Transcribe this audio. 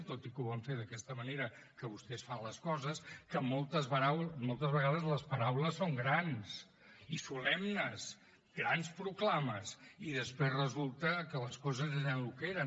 tot i que ho van fer d’aquesta manera que vostès fan les coses que moltes vegades les paraules són grans i solemnes grans proclames i després resulta que les coses eren el que eren